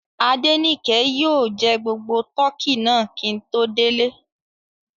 Adenike yóò jẹ gbogbo tọkí náà kí n tó délé